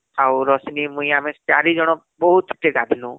ରଶ୍ମି ମୁଇଁ ଆମେ ଚାରିଜଣ ବହୁତ କେ ଗାଧନୁ